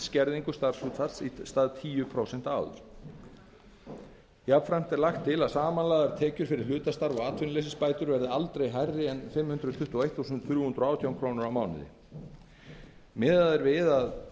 skerðingu starfshlutfalls í stað tíu prósenta áður jafnframt er lagt til að samanlagðar tekjur fyrir hlutastarf og atvinnuleysisbætur verði aldrei hærri en fimm hundruð tuttugu og eitt þúsund þrjú hundruð og átján krónur á mánuði miðað er við að